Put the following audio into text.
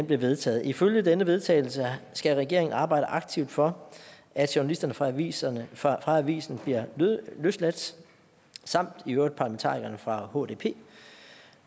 vedtaget ifølge denne vedtagelse skal regeringen arbejde aktivt for at journalisterne fra avisen fra avisen bliver løsladt samt i øvrigt også parlamentarikerne fra hdp